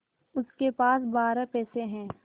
उसके पास बारह पैसे हैं